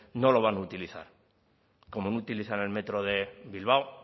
no lo van a utilizar como no utilizan el metro de bilbao